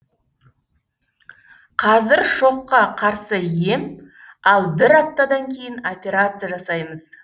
қазір шокка қарсы ем ал бір аптадан кейін операция жасаймыз